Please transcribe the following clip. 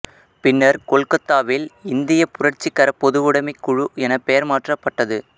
பின்னர் கொல்கத்தாவில் இந்திய புரட்சிகர பொதுவுடைமைக் குழு என பெயர் மாற்றப்பட்டது